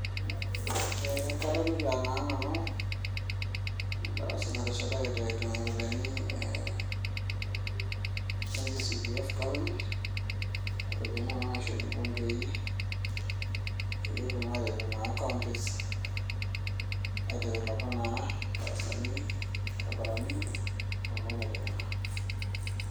kadolita naa nanu edarasa nateshetaki CDF government, aairopiyiani kuna naishori irbungei pee etum atipik naa counties' aidevelopa darasani, orbarabrani.